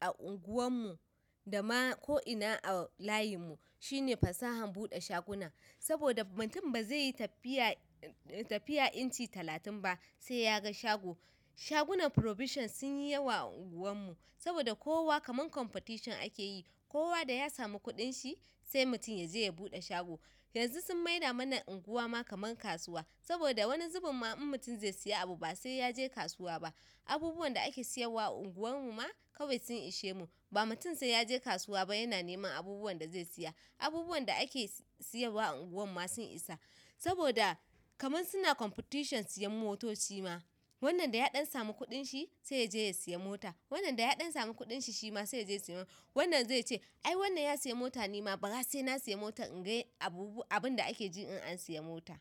a unguwar mu, dama ko ina a layinmu shine fasahan buɗe shaguna. Saboda mutum ba zai yi tafiya inci talatin ba sai ya ga shago. Shagunan provision sun yi yawa a unguwan mu saboda kowa kamar competition ake yi. Kowa da ya samu kuɗin shi sai mutum ya je ya buɗe shago. Yanzu sun maida mana unguwa ma kamar kasuwa saboda wani zubun ma in mutum zai siya abu ba sai ya je kasuwa ba. Abubuwan da ake siyarwa a unguwan mu ma kawai sun ishe mu ba mutum sai ya je kasuwa ba yana neman abubuwan da zai siya. Abubuwan da ake siya ba a unguwan mu ma sun isa saboda kamar suna competition siyan motoci ma. Wannan ɗaya d'an samu kudinshi sai yaje ya siya mota, wannan da yad'an samu kudinshi shima sai yaje siyan. Wannan zai ce "ai wannan ya siya mota ni ma bara sai na siya mota in ga abinda ake ji in an siya mota."